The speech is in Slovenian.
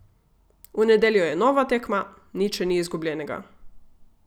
V nedeljo je nova tekma, nič še ni izgubljenega.